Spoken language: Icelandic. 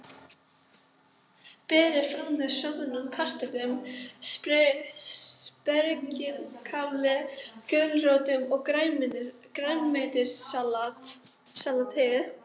Berið fram með soðnum kartöflum, spergilkáli, gulrótum og grænmetissalati.